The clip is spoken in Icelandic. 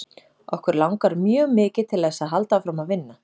Okkur langar mjög mikið til þess að halda áfram að vinna.